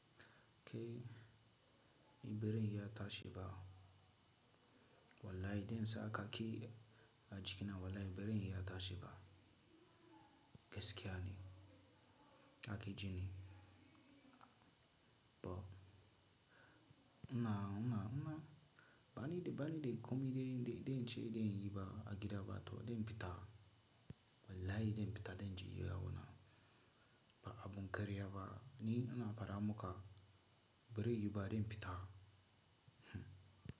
Tebirin ya tashi ba. Wallahi idan sa ka ki a jiki na wallahi biran iya tashi ba. Gaskiya ne, haka ji ne. Ba una, una, una, bani da, bani da komi da, da, da in ce da in yi ba a gida ba to dai fita. Wallahi dan fita danje yawo na. Ba abun karya ba. Ni ana fada muka birin yi ba dan fita. Hmm.